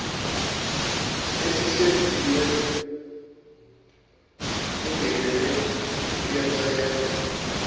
esihlinzekiwe singenele uyacelwa